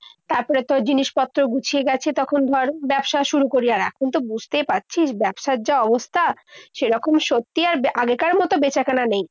তারপরে তোর জিনিসপত্র গুছিয়ে গাছিয়ে তখন ধর ব্যবসা শুরু করি। কিন্তু বুঝতেই পারছিস ব্যবসার যা অবস্থা সেরকম শক্তি আর আগের মতো বেচাকেনা নেই।